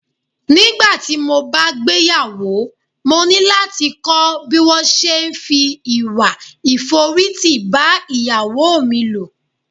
Nígbàtí mo bá gbéyàwó, mo ní láti kọ́ bí wón se é fi ìwà ìforítì bá Ìyàwó mi lò.